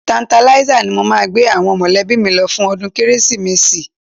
Tertanlizer ni mo máa gbé àwọn mọ̀lẹ́bí mi lọ fún ọdún Kérésìmesì